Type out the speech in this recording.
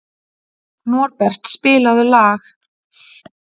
Norbert, spilaðu lag.